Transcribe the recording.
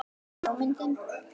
Besta bíómyndin?